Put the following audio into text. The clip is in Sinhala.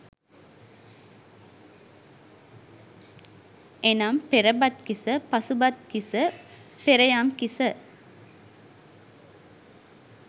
එනම් පෙරබත්කිස, පසුබත්කිස, පෙරයම්කිස,